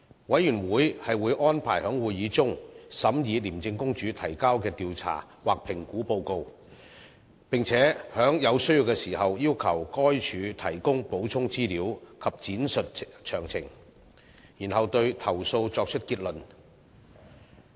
委員會會安排在會議中審議廉政公署提交的調查或評估報告，並在有需要時要求該署提供補充資料及闡述詳情，然後對投訴作出結論。